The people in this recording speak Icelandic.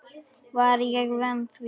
Var ég vön því?